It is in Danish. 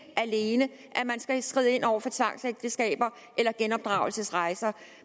alene at man skal skride ind over for tvangsægteskaber og genopdragelsesrejser